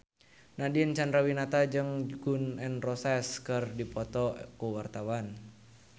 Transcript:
Nadine Chandrawinata jeung Gun N Roses keur dipoto ku wartawan